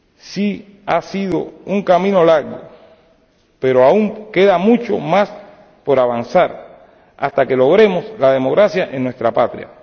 Sí, ha sido un camino largo, pero aún queda mucho más por avanzar hasta que logremos la democracia en nuestra patria.